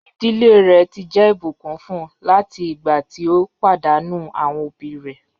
Iḍilẹ̀ rẹ̀ ti jẹ́ ibùkún fún láti igbà tí o padànù awọn obì rẹ̀.